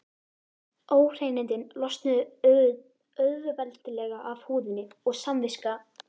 Óhreinindin losnuðu auðveldlega af húðinni og samviska